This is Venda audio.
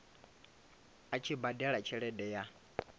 a tshi badela tshelede ya